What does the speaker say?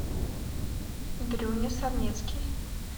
дрюня сарнецкий